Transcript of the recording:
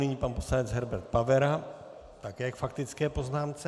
Nyní pan poslanec Herbert Pavera také k faktické poznámce.